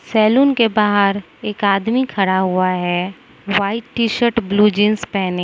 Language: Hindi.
सैलून के बाहर एक आदमी खड़ा हुआ है व्हाइट टी शर्ट और ब्ल्यू जींस पहने --